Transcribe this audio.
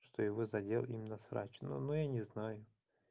что его задел именно срач но я не знаю